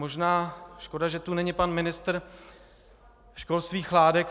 Možná škoda, že tu není pan ministr školství Chládek.